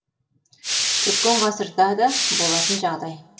өткен ғасырда да болатын жағдай